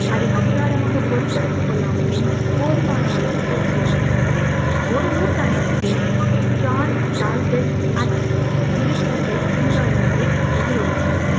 அதை அதிகாரமாக பொறுப்பெடுத்துக் கொள்ளாமலும் கொள்ளாமலும் போதுமான அளவுக்கு இருக்கின்றது ஒரு நூற்றாண்டுக்கு பின் ஜான் டால் பேக் ஆக்டங் இருக்கிறதை பின்வருமாறு எதிரொலித்தார்